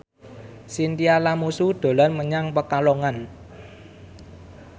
Chintya Lamusu dolan menyang Pekalongan